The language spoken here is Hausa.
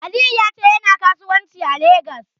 Aliyu ya ce yana kasuwanci a Legas.